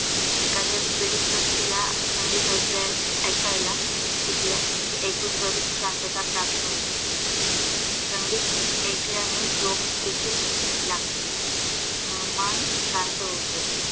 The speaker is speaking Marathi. एखाद्या पीडित व्यक्तीला संगीत ऐकायला दिल्यास, ऐकून त्वरित शांतता प्राप्त होते संगीत ऐकल्याने झोप देखील लागते व मन शांत होते.